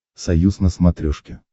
союз на смотрешке